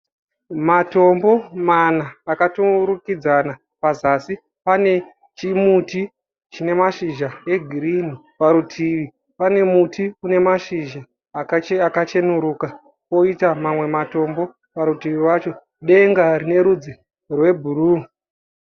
Matombo mana akaturikidzana. Pazasi pane chimuti chine mashizha egirinhi. Parutivi pane muti une mashizha akacheneruka kwoita mamwe matombo parutivi wacho. Denga rine rudzi rwebhuruu.